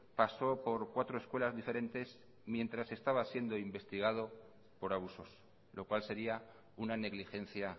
pasó por cuatro escuelas diferentes mientras estaba siendo investigado por abusos lo cual sería una negligencia